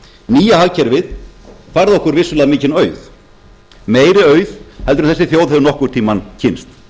nýja hagkerfið færði okkur vissulega mikinn auð meiri auð heldur en þessi þjóð hefur nokkurn tíma kynnst